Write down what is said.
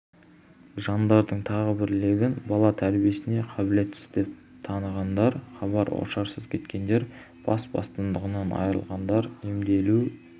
жандардың тағы бір легін бала тәрбиесіне қабілетсіз деп танығандар хабар-ошарсыз кеткендер бас бостандығынан айырылғандар емделу